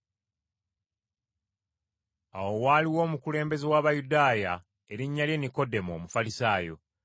Awo waaliwo omukulembeze w’Abayudaaya erinnya lye Nikodemo, Omufalisaayo,